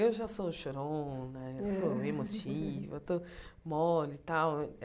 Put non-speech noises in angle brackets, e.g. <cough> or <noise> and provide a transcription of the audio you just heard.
Eu já sou chorona, <laughs> eu sou emotiva, eu estou mole e tal.